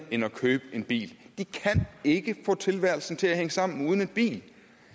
end at købe en bil de kan ikke få tilværelsen til at hænge sammen uden en bil